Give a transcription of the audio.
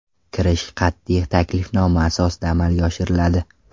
Kirish qat’iy taklifnoma asosida amalga oshiriladi.